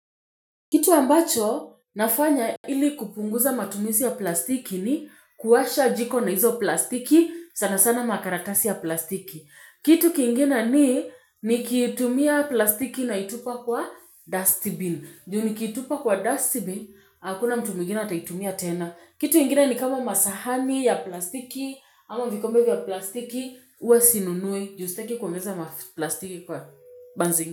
Kitu ambacho nafanya ili kupunguza matumizi ya plastiki ni kuwasha jiko na hizo plastiki sana sana makaratasi ya plastiki. Kitu kingine ni nikitumia plastiki naitupa kwa dustbin. Ju nikitupa kwa dustbin, hakuna mtu mwigine ataitumia tena. Kitu ingine ni kama masahani ya plastiki, ama vikombe vya plastiki, huwa sinunui. Ju staki kuongeza ma plastiki kwa.